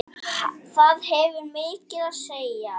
Það hefur mikið að segja.